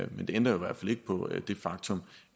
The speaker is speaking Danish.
men det ændrer jo ikke på det faktum